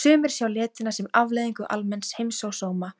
Sumir sjá letina sem afleiðingu almenns heimsósóma,